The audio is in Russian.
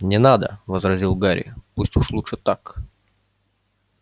не надо возразил гарри пусть уж лучше так